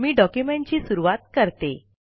मी document ची सुरुवात करते